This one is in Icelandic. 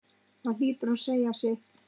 Það hlýtur að segja sitt.